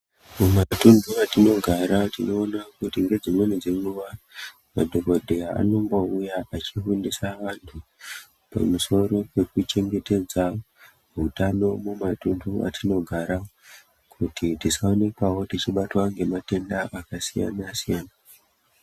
Mumatunhu matinogara tinoona kuti ngedzimweni dzenguva madhokodheya anombouya echifundisa vantu pamusoro pekuchengetedza utano mumatuntu atinogara kuti tisaonekwawo techibatwa ngematenda akasiyana siyana.